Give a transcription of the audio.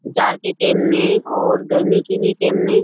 जाड़ के टेम में और गर्मी के भी टेम में --